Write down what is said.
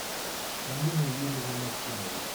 алине юрьевне максимовой